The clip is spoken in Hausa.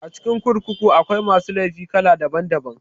A cikin kurkuku akwai masu laifi kala daban daban